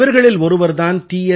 இவர்களில் ஒருவர் தான் டி